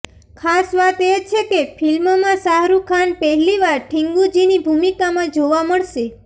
ખાસ વાત એ છે કે ફિલ્મમાં શાહરૂખ ખાન પહેલીવાર ઠિંગુજીની ભૂમિકામાં જોવા મળસે